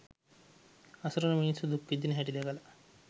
අසරණ මිනිස්සු දුක් විඳින හැටි දැකල